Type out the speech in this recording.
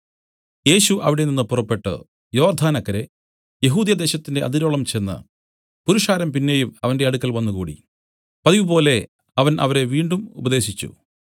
യേശു അവിടെനിന്ന് പുറപ്പെട്ടു യോർദ്ദാനക്കരെ യെഹൂദ്യദേശത്തിന്റെ അതിരോളം ചെന്ന് പുരുഷാരം പിന്നെയും അവന്റെ അടുക്കൽ വന്നുകൂടി പതിവുപോലെ അവൻ അവരെ വീണ്ടും ഉപദേശിച്ചു